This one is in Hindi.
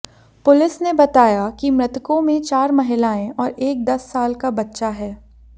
पुलिस ने बताया कि मृतकों में चार महिलाएं और एक दस साल का बच्चा है